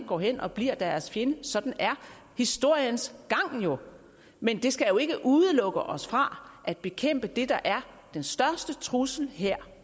går hen og bliver deres fjende sådan er historiens gang jo men det skal jo ikke udelukke os fra at bekæmpe det der er den største trussel her